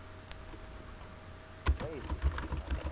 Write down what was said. કઈ field વિશે વાત કરું